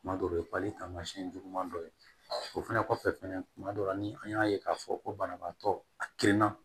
Tuma dɔw ye pali taamasiyɛn juguman dɔ ye o fana kɔfɛ fɛnɛ kuma dɔ la ni an y'a ye k'a fɔ ko banabaatɔ a gindan